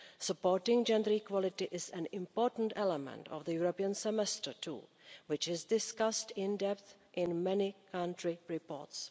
Supporting gender equality is an important element of the European Semester tool which is discussed in depth in many country reports.